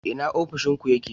Ina ofishin ku yake?